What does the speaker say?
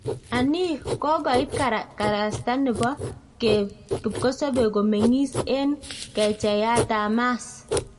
Anii, kokoit karasta nebo kipkosobe komeng'is en kecheiyat ab Mars?